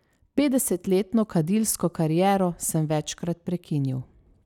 Petdesetletno kadilsko kariero sem večkrat prekinil.